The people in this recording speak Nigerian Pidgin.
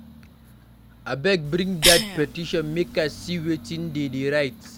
Abeg bring dat petition make I see wetin de dey write.